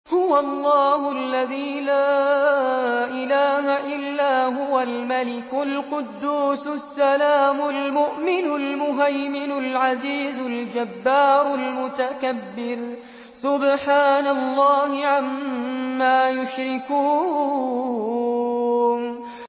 هُوَ اللَّهُ الَّذِي لَا إِلَٰهَ إِلَّا هُوَ الْمَلِكُ الْقُدُّوسُ السَّلَامُ الْمُؤْمِنُ الْمُهَيْمِنُ الْعَزِيزُ الْجَبَّارُ الْمُتَكَبِّرُ ۚ سُبْحَانَ اللَّهِ عَمَّا يُشْرِكُونَ